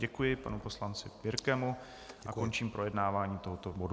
Děkuji panu poslanci Birkemu a končím projednávání tohoto bodu.